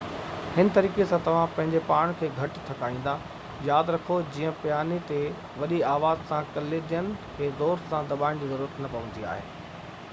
هن طريقي سان توهان پنهنجي پاڻ کي گهٽ ٿڪائيندا ياد رکو جيئن پياني تي وڏي آواز لاءِ ڪليدين کي زور سان دٻائڻ جي ضرورت نہ پوندي آهي